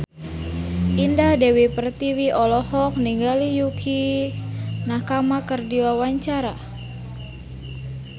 Indah Dewi Pertiwi olohok ningali Yukie Nakama keur diwawancara